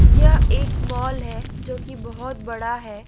यह एक मॉल है जो कि बहोत बड़ा है।